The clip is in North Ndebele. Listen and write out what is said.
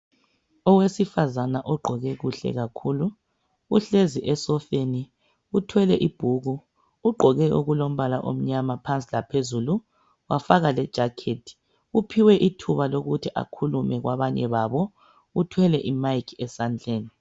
Owesifazana ogqoke kuhle kakhulu. Uhlezi esofeni uthwele ibhuku. Ugqoke okulombala omnyama phansi laphezulu wafaka lejaketi. Uphiwe ithuba lokuthi akhulume kwabanye babo. Uthwele imayiki esandleni.